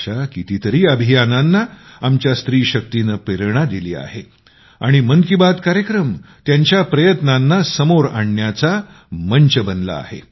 अशा कितीतरी अभियानांना आमच्या स्त्री शक्तीनं प्रेरणा दिली आहे आणि मन की बात कार्यक्रम त्यांच्या प्रयत्नांना समोर आणण्याचा मंच बनला आहे